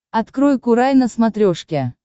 открой курай на смотрешке